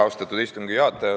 Austatud istungi juhataja!